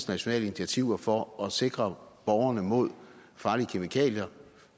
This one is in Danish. nationale initiativer for at sikre borgerne mod farlige kemikalier